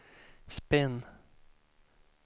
spinn